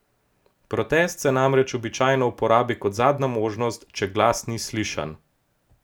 Protest se namreč običajno uporabi kot zadnja možnost, če glas ni slišan.